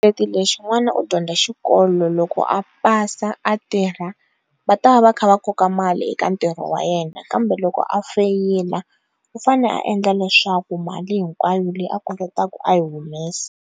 u dyondza xikolo loko a pasa a tirha va ta va va kha va koka mali eka ntirho wa yena kambe loko a feyila u fanele a endla leswaku mali hinkwayo leyi a kolotaka a yi humesa.